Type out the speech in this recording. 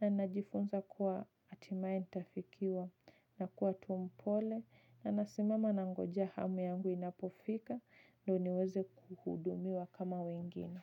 Na najifunza kuwa hatimae nitafikiwa nakuwa tu mpole. Na nasimama nangoja hamu yangu inapofika. Ndio niweze kuhudumiwa kama wengine.